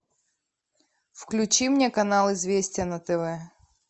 включи мне канал известия на тв